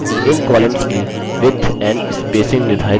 इन columns की width and spacing निर्धारित करते हैं